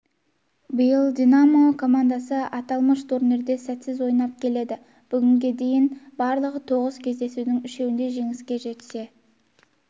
биыл динамо командасы аталмыш турнирде сәтсіз ойнап келеді бүгінге дейін барлығы тоғыз кездесудің үшеуінде жеңіске жетсе